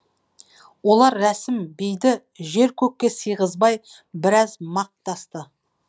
олар рәсім бейді жер көкке сыйғызбай біраз мақтасты